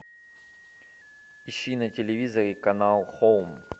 ищи на телевизоре канал хоум